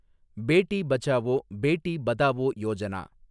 Beti Bachao, Beti Padhao Yojana